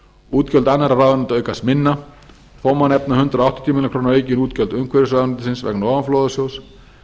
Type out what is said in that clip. útgjöld annarra ráðuneyta aukast minna þó má nefna hundrað áttatíu milljónir króna aukin útgjöld umhverfisráðuneytisins vegna ofanflóðasjóðs